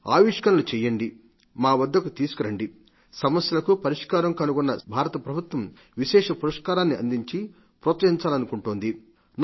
ఈవిష్కారాలు సాంతికేతకు భారత ప్రభుత్వం విశేష పురస్కారాన్ని అందించి ప్రోత్సహించాలనుకుంటోంది